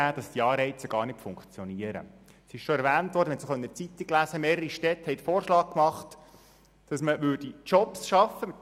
Es handelt sich dabei um Sozialdirektorinnen und Sozialdirektoren, die Verantwortung tragen und vom Volk gewählt worden sind.